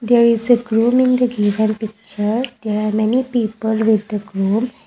there is a grooming the given picture there are many people with the groom.